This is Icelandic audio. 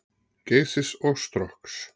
Geysis og Strokks.